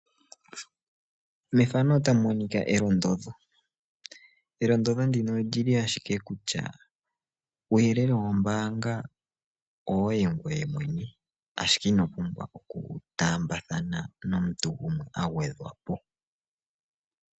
Methano otamu monika elondodho. Elondodho ndino olili ashike kutya , uuyelele wombaanga owoye gweye mwene, ashike ino pumbwa oku wu taambathana nomuntu gumwe a gwedhwa po.